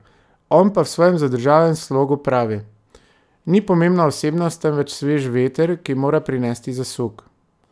On pa v svojem zadržanem slogu pravi: "Ni pomembna osebnost, temveč sveži veter, ki mora prinesti zasuk.